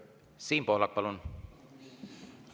Siim Pohlak, palun!